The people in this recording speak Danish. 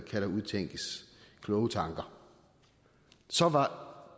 der udtænkes kloge tanker så var